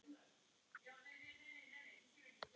andi á hikinu.